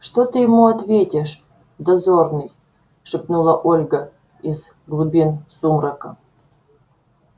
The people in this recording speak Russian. что ты ему ответишь дозорный шепнула ольга из глубин сумрака